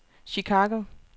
Chicago